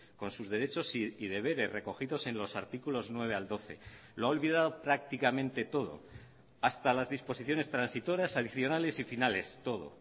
con sus derechos y deberes recogidos en los artículos nueve al doce lo ha olvidado prácticamente todo hasta las disposiciones transitorias adicionales y finales todo